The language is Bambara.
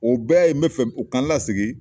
O bɛɛ ye n bɛ fɛ u ka n lasigi.